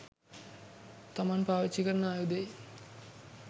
තමන් පාවිච්චි කරන ආයුධයේ